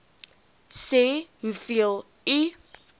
sê hoeveel u